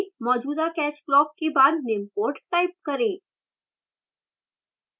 मौजूदा catch block के बाद निम्न code type करें